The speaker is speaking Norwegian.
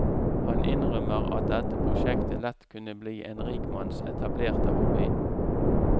Han innrømmer at dette prosjektet lett kunne bli en rikmanns etablerte hobby.